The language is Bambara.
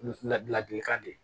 Ladilikan de